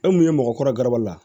E mun ye mɔgɔkɔrɔbaw la